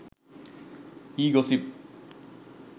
e gossip